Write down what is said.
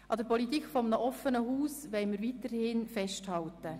An der Politik eines offenen Hauses wollen wir weiterhin festhalten.